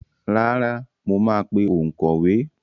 Rárá, mo máa pe òǹkọ̀wé.